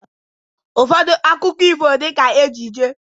Ụfọdụ akụkọ ifo dị ka ejije